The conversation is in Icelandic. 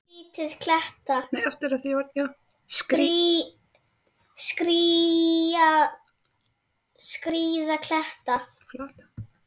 Skríða kletta.